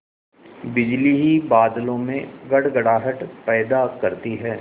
बिजली ही बादलों में गड़गड़ाहट पैदा करती है